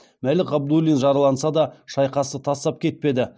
мәлік ғабдуллин жараланса да шайқасты тастап кетпеді